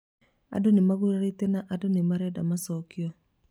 Andũ nĩmagurarĩte na andũ nĩmarenda macokio